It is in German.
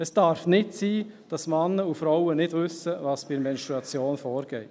Es darf nicht sein, dass Männer und Frauen nicht wissen, was bei der Menstruation vorgeht.